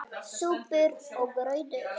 SÚPUR OG GRAUTAR